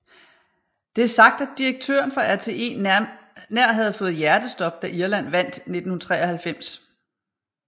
Det er sagt at direktøren for RTE nær havde fået hjertestop da Irland vandt i 1993